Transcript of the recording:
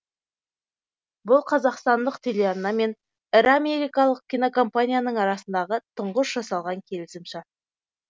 бұл қазақстандық телеарна мен ірі америкалық кинокомпанияның арасындағы тұңғыш жасалған келісім шарт